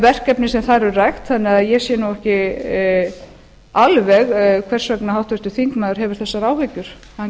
verkefnin sem þar eru rædd þannig að ég sé nú ekki alveg hvers vegna háttvirtur þingmaður hefur þessar áhyggjur hann